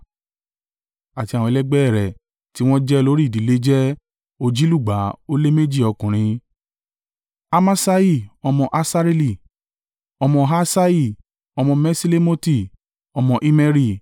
àti àwọn ẹlẹgbẹ́ ẹ rẹ̀ tí wọ́n jẹ́ olórí ìdílé jẹ́ òjìlúgba ó lé méjì (242) ọkùnrin: Amaṣai ọmọ Asareeli, ọmọ Ahsai, ọmọ Meṣilemoti, ọmọ Immeri,